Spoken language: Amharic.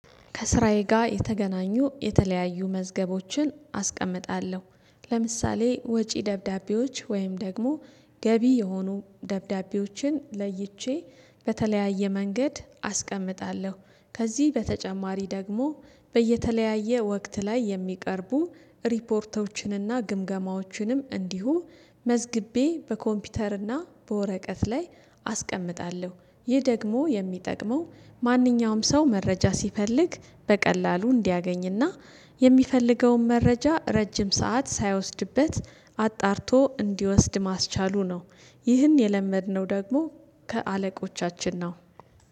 ከስራዬ ጋር የተገናኙ የተለያዩ መዝገቦችን አስቀምጣለሁ ለምሳሌ ወጪ ደብዳቤዎች ወይም ደግሞ ገቢ የሆኑ ደብዳቤዎችን ለይቼ በተለያየ መንገድ አስቀምጣለሁ። ከዚህ በተጨማሪ ደግሞ በየተለያየ ወቅት ላይ የሚቀርቡ ሪፖርቶችንና ግምገማዎችንም እንዲሁ መዝግቤ በኮምፒውተርና በወረቀት ላይ አስቀምጣለሁ። ይህ ደግሞ የሚጠቅመው ማንኛውም ሰው መረጃ ሲፈልግ በቀላሉ እንዲያገኝና የሚፈልገውን መረጃ ረጅም ሰዓት ሳይወስድበት አጣርቶ እንዲወስድ ማስቻሉ ነው። ይህን የለመድነው ደግሞ ከአለቆቻችን ነው